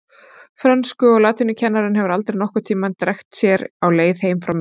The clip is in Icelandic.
Frönsku- og latínukennari hefur aldrei nokkurn tímann drekkt sér á leið heim frá mér.